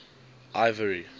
ivory